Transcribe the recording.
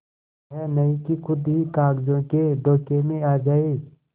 यह नहीं कि खुद ही कागजों के धोखे में आ जाए